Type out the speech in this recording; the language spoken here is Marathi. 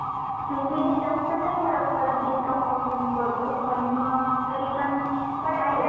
थंडीनी जास्त नाही फरक पडत जितका पाऊसाने पडतो पण मग तरीपण पडतो